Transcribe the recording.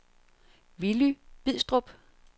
Willy Bidstrup